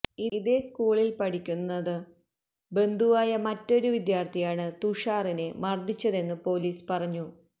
ഇതേ സ്കൂളില് പഠിക്കുന്നു ബന്ധുവായ മറ്റൊരു വിദ്യാര്ഥിയാണ് തുഷാറിനെ മര്ദിച്ചതെന്നു പോലീസ് പറഞ്ഞു